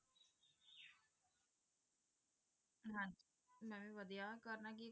ਮੈਂ ਵੀ ਵਧੀਆ ਕਰਨਾ ਕੀ